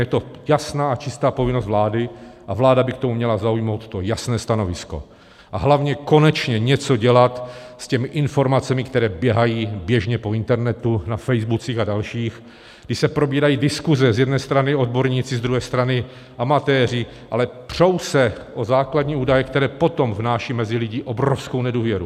Je to jasná a čistá povinnost vlády a vláda by k tomu měla zaujmout to jasné stanovisko a hlavně konečně něco dělat s těmi informacemi, které běhají běžně po internetu, na faceboocích a dalších, kdy se probírají diskuze - z jedné strany odborníci, z druhé strany amatéři, ale přou se o základní údaje, které potom vnášejí mezi lidi obrovskou nedůvěru.